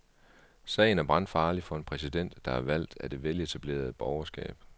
Sagen er brandfarlig for en præsident, der er valgt af det veletablerede borgerskab.